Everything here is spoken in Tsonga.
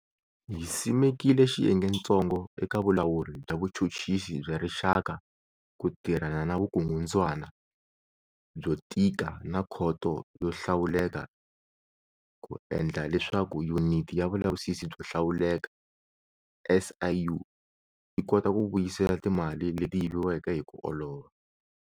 Hi simekile Xiyengetsongo eka Vulawuri bya Vuchuchisi bya Rixaka ku tirhana na vukungundzwana byo tika na Khoto yo Hlawuleka ku endlela leswaku Yuniti ya Vulavisisi byo Hlawuleka, SIU, yi kota ku vuyisela timali leti yiviweke hi ku olova.